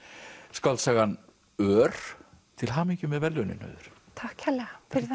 skáldsagan ör til hamingju með verðlaunin Auður takk kærlega fyrir